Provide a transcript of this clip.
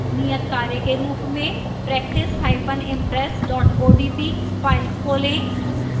नियतकार्य के रूप में practiceimpress odp फाइल खोलें